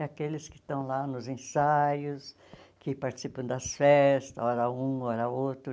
É aqueles que estão lá nos ensaios, que participam das festas, hora um, hora outro.